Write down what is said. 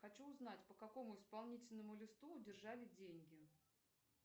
хочу узнать по какому исполнительному листу удержали деньги